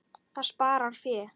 Það sparar fé.